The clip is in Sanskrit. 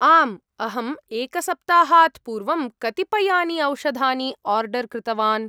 आम्, अहम् एकसप्ताहात् पूर्वं कतिपयानि औषधानि आर्डर् कृतवान्।